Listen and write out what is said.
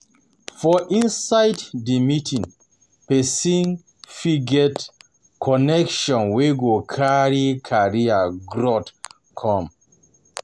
For inside di meeting persin um fit get um connection um wey go carry career growth come